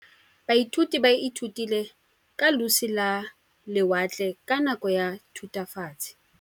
Baithuti ba ithutile ka losi lwa lewatle ka nako ya Thutafatshe.